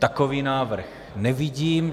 Takový návrh nevidím.